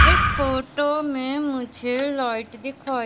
इस फोटो में मुझे लाइट दिखाई--